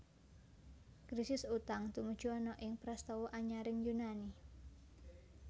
Krisis utang tumuju ana ing prastawa anyaring Yunani